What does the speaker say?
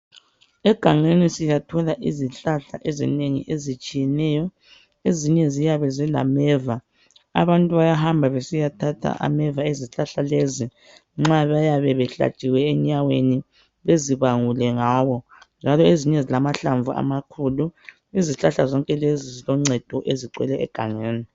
Egangeni siyithola izihlahla ezinengi ezitshiyeneyo ezinye ziyabe zilameva abantu bayahamba besiyathatha ameva ezihlahla lezi nxa bayabe behlatshiwe enyaweni bezibangule ngawo njalo ezinye zilamahlamvu amakhulu. Izihlahla zonke lezi ziloncedo ezigcwele egangeni.